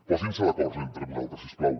posin se d’acord entre vosaltres si us plau